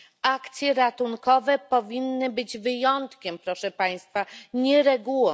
Akcje ratunkowe powinny być wyjątkiem proszę państwa, nie regułą.